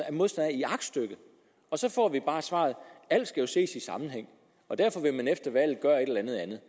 er modstander af i aktstykket og så får vi bare svaret alt skal jo ses i sammenhæng og derfor vil man efter valget gøre et eller andet andet